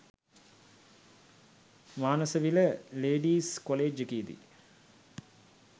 Manasavila ladies college එකේදි